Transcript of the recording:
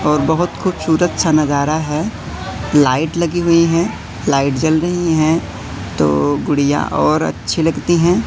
और बहुत खूबसूरत सा नजारा है लाइट लगी हुई हैं लाइट जल रही हैं तो गुड़ियां और अच्छी लगती हैं।